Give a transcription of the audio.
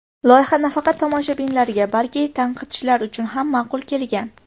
Loyiha nafaqat tomoshabinlarga, balki tanqidchilar uchun ham ma’qul kelgan.